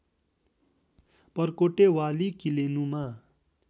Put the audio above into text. परकोटे वाली किलेनुमा